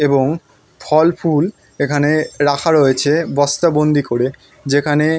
এবং ফলফুল এখানে রাখা রয়েছে বস্তা বন্দি করে যেখানে --